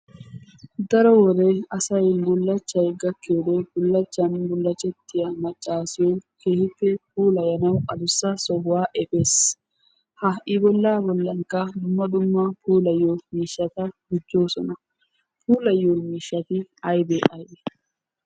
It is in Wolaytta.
Daro wode asay bulachchay gaakiyoode bulachchan bullachchettiya maccasiyo keehippe puulayanawu addussa sohuwa efees. ha I bolla bollankka dumma dumma puulayyiyo miishshata gujoosona. puulayyiyo miishshati aybbe aybbe?